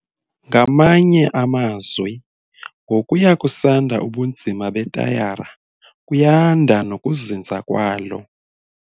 Ngamanye amazwi, ngokuya kusanda ubunzima betayara kuyanda nokuzinza kwalo.